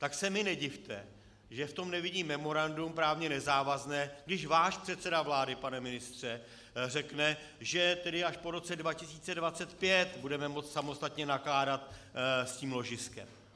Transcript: Tak se mi nedivte, že v tom nevidím memorandum právně nezávazné, když váš předseda vlády, pane ministře, řekne, že tedy až po roce 2025 budeme moci samostatně nakládat s tím ložiskem.